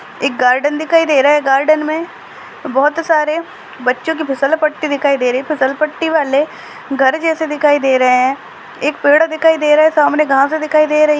एक गार्डेन दिखाई दे रहा है गार्डन में बहोत सारे बच्चों की फिसलपट्टी दिखाई दे रही है फिसलपट्टी वाले घर जैसे दिखाई दे रहे हैं एक पेड़ दिखाई दे रहा है सामने घास दिखाई दे रही --